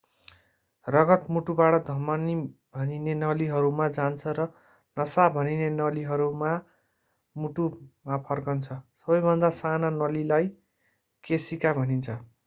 रगत मुटुबाट धमनी भनिने नलीहरूमा जान्छ र नसा भनिने नलीहरूमा मुटुमा फर्कन्छ सबैभन्दा साना नलीलाई केशिका भनिन्छ